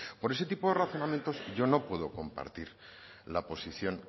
por ese tipo de razonamientos yo no puedo compartir la posición